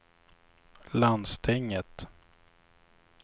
landstinget